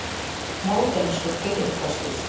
Módernískur byggingarstíll.